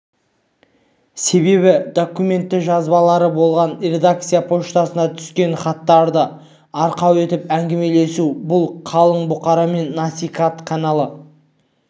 себебі документті жазбалары болмаған редакция почтасына түскен хаттарды арқау етіп әңгімелесу бұл қалың бұқарамен насихат каналын